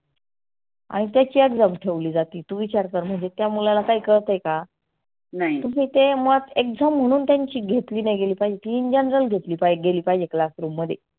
आणि त्याची exam ठेवली जाती तु विचार कर म्हणजे त्या मुलाला काही कळतय का? तुम्ही ते मुलात exam म्हणून त्यांची घेतली नाही गेली पाहीजे in general म्हणून घेतली पाहीजे classroom मध्ये.